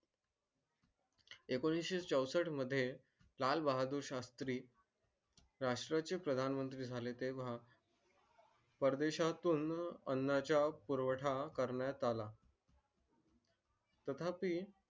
एकोणीशे चौसष्ट मध्ये लाल बहादूर शास्त्री राष्ट्रा चे प्रधान मंत्री झाले तेव्हा परदेशातून अन्नचा पुरवठा करण्यात आला तथापी